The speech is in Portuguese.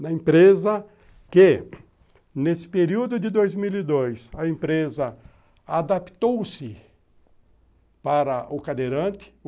na empresa que, nesse período de dois mil e dois, a empresa adaptou-se para o cadeirante.